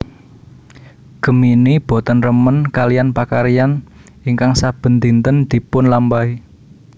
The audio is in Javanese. Gemini boten remen kaliyan pakaryan ingkang saben dinten dipunlampahi